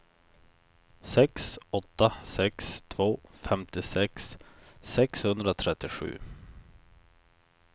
sex åtta sex två femtiosex sexhundratrettiosju